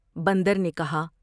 بندر نے کہا ۔